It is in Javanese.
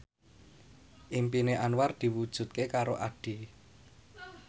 impine Anwar diwujudke karo Addie